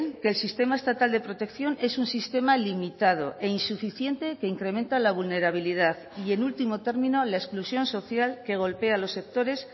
que el sistema estatal de protección es un sistema limitado e insuficiente que incrementa la vulnerabilidad y en último término la exclusión social que golpea a los sectores